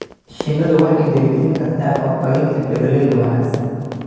Shinnidu waxay dhiirigelin kartaa horumarinta beeralayda wanaagsan.